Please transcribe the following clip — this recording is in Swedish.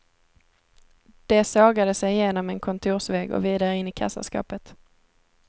De sågade sig genom en kontorsvägg och vidare in i kassaskåpet.